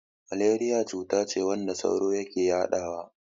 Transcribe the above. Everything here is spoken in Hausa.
Maleriya cutace wadda sauro yake yadawa.